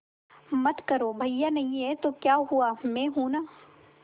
मत करो भैया नहीं हैं तो क्या हुआ मैं हूं ना